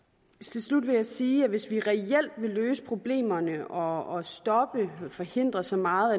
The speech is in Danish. til slut vil jeg sige at hvis vi reelt vil løse problemerne og stoppe og forhindre så meget